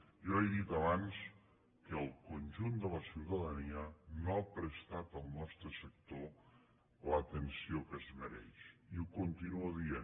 jo he dit abans que el conjunt de la ciutadania no ha prestat al nostre sector l’atenció que es mereix i ho continuo dient